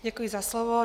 Děkuji za slovo.